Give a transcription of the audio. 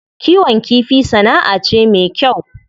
Kiwon kifi sana'a ce me kyau.